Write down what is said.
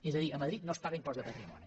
és a dir a madrid no es paga impost de patrimoni